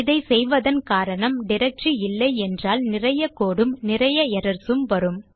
இதை செய்வதன் காரணம் டைரக்டரி இல்லை என்றால் நிறைய கோடு உம் நிறைய எரர்ஸ் உம் வரும்